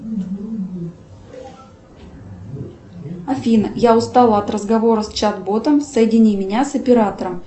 афина я устала от разговора с чат ботом соедини меня с оператором